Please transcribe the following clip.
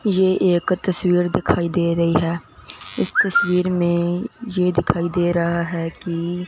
ये एक तस्वीर दिखाई दे रही है इस तस्वीर में ये दिखाई दे रहा है कि--